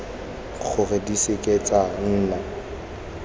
gore di seke tsa nna